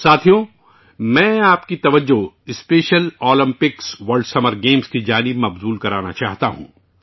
ساتھیو، میں آپ کی توجہ special Olympics world summer games کی طرف بھی لے جانا چاہتا ہوں